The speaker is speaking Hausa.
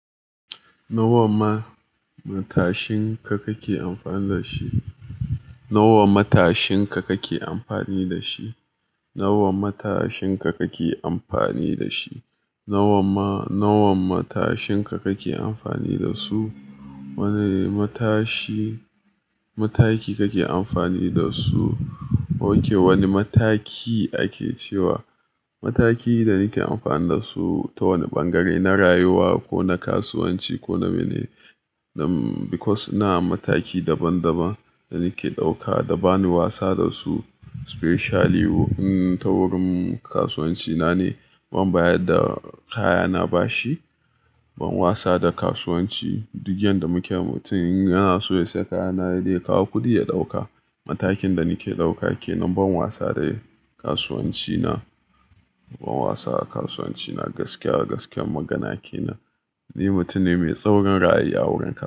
Nawa ma matashin ka kake amfani da shi? Nawa matashin ka kake amfani da shi? Nawa matashin ka kake amfani da shi? Nawa ma, nawa matashin ka kake amfani da su? Wane matashi, mataki kake amfani da su? OK, wani mataki ake cewa mataki da nake amfani da su ta wani ɓangare na rayuwa ko na kasuwanci ko na mene. Because na mataki daban daban da nake ɗauka da bani wasa da su specially ta wurin kasuwanci na ne. Ban bayar da kaya na bashi, ban wasa da kasuwanci. Duk yanda muke mutum yana so ya sayi kaya na sai dai ya kawo kuɗi ya ɗauka. Matakin da nake ɗauka ke nan ban wasa da kasuwanci na. Ban wasa a kasuwanci na gaskiya gaskiyar magana ke nan. Ni mutum ne mai tsaurin ra'ayi a wurin.